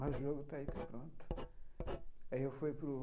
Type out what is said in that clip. Mas o jogo está aí, está pronto aí eu fui para o.